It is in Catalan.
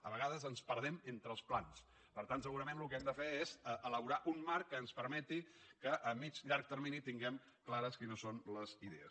a vegades ens perdem entre els plans per tant segurament el que hem de fer és elaborar un marc que ens permeti que a mitjà llarg termini tinguem clares quines són les idees